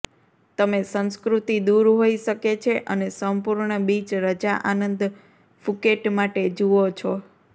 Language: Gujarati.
તમે સંસ્કૃતિ દૂર હોઈ શકે છે અને સંપૂર્ણ બીચ રજા આનંદ ફુકેટ માટે જુઓ છો